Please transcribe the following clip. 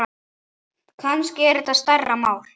Kannski er þetta stærra mál.